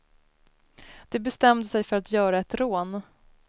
De bestämde sig för att göra ett rån.